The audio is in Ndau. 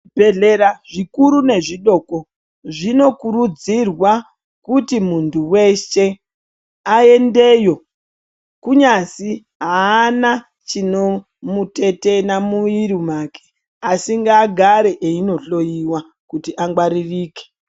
Zvibhedhlera zvikuru nezvidoko zvinokurudzirwa kuti muntu weshe aendeyo kunyazi haana chinomutetena mumwiri wake asi ngaagare eindihloyiwa kuti angwaririke.